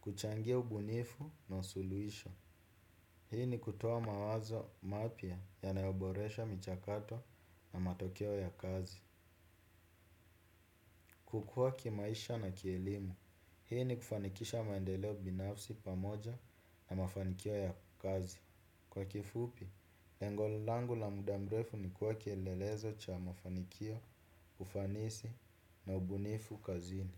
Kuchangia ubunifu na wa suluhisho, hii ni kutoa mawazo mapya yanayoboresha michakato na matokeo ya kazi. Kukua kimaisha na kielimu, hii ni kufanikisha maendeleo binafsi pamoja na mafanikio ya kazi. Kwa kifupi, lengo langu la muda mrefu ni kuwa kielelezo cha mafanikio, ufanisi na ubunifu kazini.